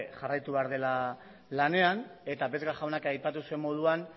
jarraitu behar dela lanean eta vesga jaunak aipatu zuen moduan